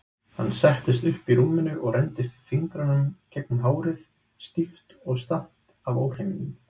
Hann settist upp í rúminu og renndi fingrunum gegnum hárið, stíft og stamt af óhreinindum.